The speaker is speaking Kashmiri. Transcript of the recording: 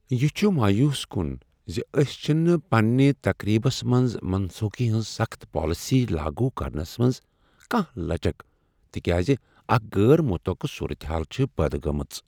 یہ چھ مایوس کن ز أسۍ چھنہٕ پننہ تقریبس منٛز منسوخی ہنٛز سخٕت پالیسی لاگو کرنس منٛز کانٛہہ لچک، تکیازِ اکھ غیر متوقع صورت حال چھےٚ پٲد گٕمژ۔